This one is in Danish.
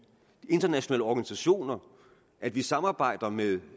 internationale organisationer at vi samarbejder med